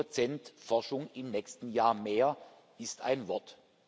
Zehn Prozent Forschung im nächsten Jahr mehr, das ist ein Wort.